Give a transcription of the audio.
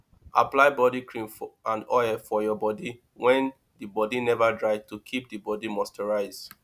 apply body cream and oil for your bodi when di bodi nova dry to keep di bodi moisturised